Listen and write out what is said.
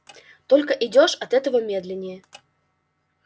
только идёшь от этого медленнее